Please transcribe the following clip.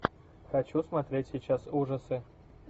хочу смотреть сейчас ужасы